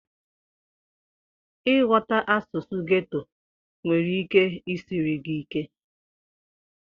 Ịghọta asụsụ ghetto nwere ike isiri gị ike.